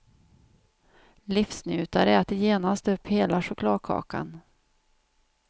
Livsnjutare äter genast upp hela chokladkakan.